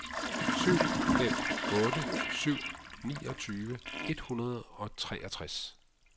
syv fem otte syv niogtyve et hundrede og treogtres